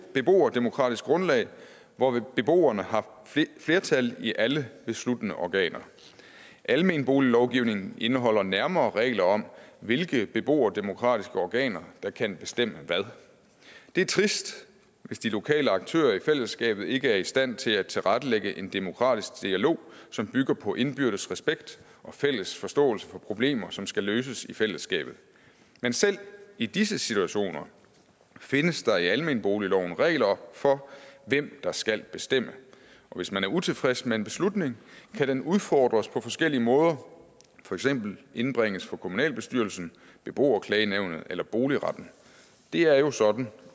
beboerdemokratisk grundlag hvor beboerne har flertal i alle besluttende organer almenboliglovgivningen indeholder nærmere regler om hvilke beboerdemokratiske organer der kan bestemme hvad det er trist hvis de lokale aktører i fællesskabet ikke er i stand til at tilrettelægge en demokratisk dialog som bygger på indbyrdes respekt og fælles forståelse for problemer som skal løses i fællesskabet men selv i disse situationer findes der i almenboligloven regler for hvem der skal bestemme og hvis man er utilfreds med en beslutning kan den udfordres på forskellige måder for eksempel indbringes for kommunalbestyrelsen beboerklagenævnet eller boligretten det er jo sådan